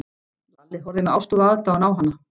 Lalli horfði með ástúð og aðdáun á hana.